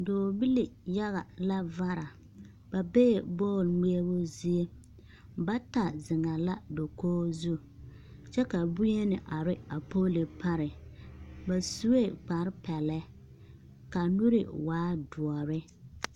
Dͻͻbili yaga la vara. Ba bee bͻl ŋmeԑbo zie. Bata zeŋԑԑ la dakogi zu kyԑ ka boŋyeni are a poolo pare. Ba sue kpare pԑlԑ ka a nuuri waa dõͻre.